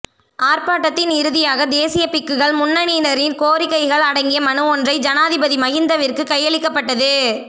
ஆர்ப்பாட்டத்தின் இறுதியாக தேசிய பிக்குகள் முன்னணியினரின் கோரிக்கைகள் அடங்கிய மனுவொன்றை ஜனாபதி மகிந்தவிற்கு கையளிக்கப்பட்டது